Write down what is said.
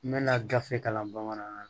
N bɛna gafe kalan bamanankan na